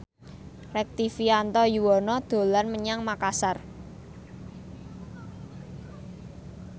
Rektivianto Yoewono dolan menyang Makasar